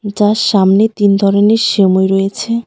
যার সামনে তিন ধরনের সেমোই রয়েছে.